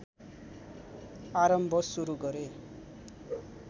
आरम्भ सुरु गरे